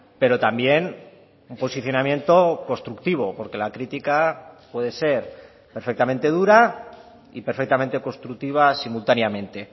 pero también un posicionamiento constructivo porque la critica puede ser perfectamente dura y perfectamente constructiva simultáneamente